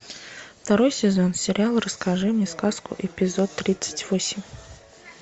второй сезон сериал расскажи мне сказку эпизод тридцать восемь